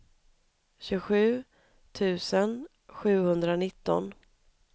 tjugosju tusen sjuhundranitton